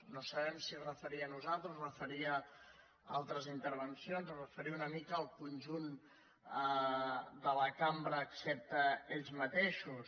no sabem si es referia a nosaltres es referia a altres intervencions o es referia una mica al conjunt de la cambra excepte ells mateixos